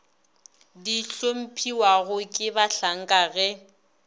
di hlomphiwago ke bahlanka ge